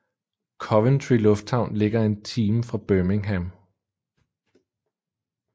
Coventry lufthavn ligger en time fra Birmingham